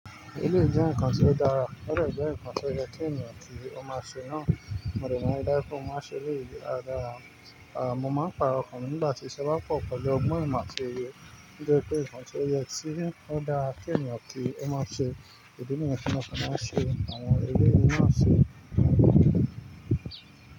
Eléyii e nkan ti o dara. Ó dẹ́ jẹ́ ǹkan tí ó yẹ kí ènìyàn tí ó máa ṣe náà, mo dẹ́ máa rí dájú pé mo máa ṣe èèyí dáradára. Ah, mo máa pàrọ̀ ọkàn mi nígbà tí iṣẹ́ bá pọ̀ pẹ̀lú ọgbọ́n ìmọ̀ tí ó yé. Nítorí pé ǹkan tí ó yẹ tí ó dára kí ènìyàn tí ó máa ṣe, ìdí niyẹn tí mo fi máa ń ṣe, àwọn eléyìí náà ṣe.